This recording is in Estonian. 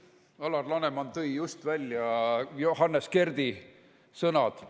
Alar Laneman tõi just välja Johannes Kerdi sõnad.